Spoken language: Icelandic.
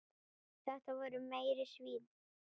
Þetta voru meiri svínin.